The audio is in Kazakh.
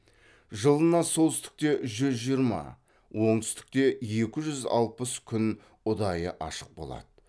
жылына солтүстікте жүз жиырма оңтүстікте екі жүз алпыс күн ұдайы ашық болады